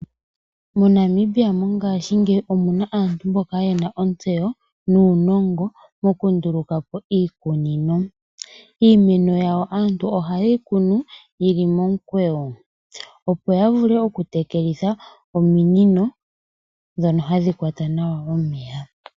Mo Namibia ngaashingeyi omuna aantu mboka yena ontseyo nuuningo moku ndulukapo iikunino. Iimeno yawo aantu oha yeyi kunu yili momukweyo opo ya vule oku tekelitha ominino ndhono hadhi kwata nawa omeya.